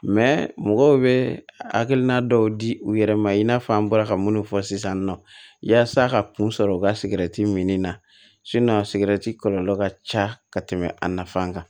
mɔgɔw bɛ hakilina dɔw di u yɛrɛ ma i n'a fɔ an bɔra ka minnu fɔ sisan nɔ yasa ka kun sɔrɔ u ka sigɛriti minni na a sigɛrɛti kɔlɔlɔ ka ca ka tɛmɛ a nafan kan